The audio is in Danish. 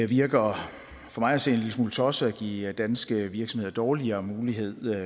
virker for mig at se en lille smule tosset at give danske virksomheder dårligere muligheder